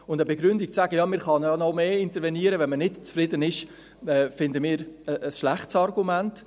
Und eine Begründung, zu sagen, man könne ja noch mehr intervenieren, wenn man nicht zufrieden sei, finden wir ein schlechtes Argument.